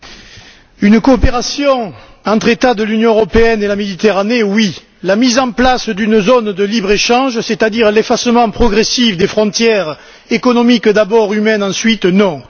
Monsieur le Président, une coopération entre États de l'Union européenne et la Méditerranée, oui! La mise en place d'une zone de libre échange, c'est à dire l'effacement progressif des frontières économiques d'abord, humaines ensuite, non!